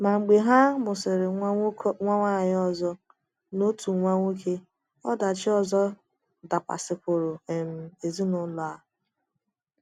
Ma mgbe ha mụsịrị nwa nwanyị ọzọ na otu nwa nwoke, ọdachi ọzọ dakwasịkwuru um ezinụlọ a.